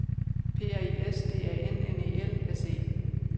P R I S D A N N E L S E